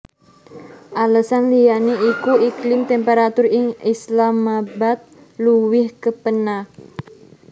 Alesan liyané iku iklim temperatur ing Islamabad luwih kepénak